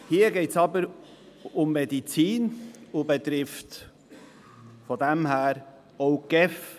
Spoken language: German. Hier geht es aber um Medizin, wodurch auch die GEF betroffen ist.